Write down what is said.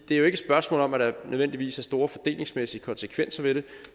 det er jo ikke spørgsmål om at der nødvendigvis er store fordelingsmæssige konsekvenser ved det